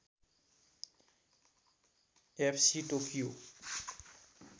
F C Tokyo